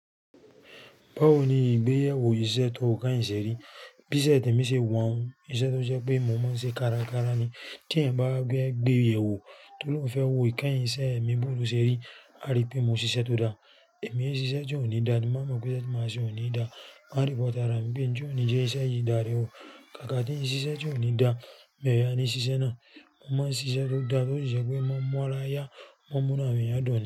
Báwo ni ìgbéyàwó iṣẹ́ tó kẹ́yìn ṣe rí? Bí iṣẹ́ tí mo ṣe wọ̀n-ón, iṣẹ́ tó jẹ́ pé mo máa ń ṣe kárakára ni. Tí èèyàn bá fẹ gbéyewó tó lọ́ oun fẹ́ wo ìkẹyìn iṣẹ́ mi bó o lo ṣe rí, a rí pé mo ṣiṣẹ́ tó dáa. Èmi ẹ ṣiṣẹ́ tí òní dáa, ti n ba mọ̀ pé iṣe máa ṣe òní dáa. Máa report ara mi pé n ti òní jẹ́ iṣẹ́ yìí dá re o. Kàkà tí n ṣiṣẹ́ tí òní daá, mi o yaà ni ṣiṣẹ́ náà. Mo máa ń ṣiṣẹ́ tó dáa tó sì jẹ́ pé ó máa ń mú ara yá, ó máa ń múnú àwọn èèyàn dùn ni.